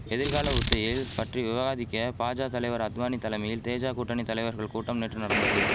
எதிர்கால உத்தியில் பற்றி விவாதிக்க பாஜா தலைவர் அத்வானி தலமையில் தேஜா கூட்டணி தலைவர்கள் கூட்டம் நேற்று நடந்தது